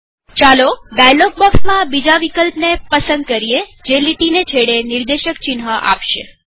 ચાલો ડાયલોગ બોક્ષમાં બીજા વિકલ્પને પસંદ કરીએજે લીટીને છેડે નિર્દેશક ચિન્હ આપશે